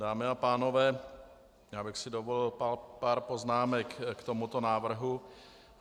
Dámy a pánové, já bych si dovolil pár poznámek k tomuto návrhu.